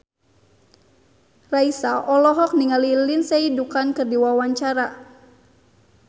Raisa olohok ningali Lindsay Ducan keur diwawancara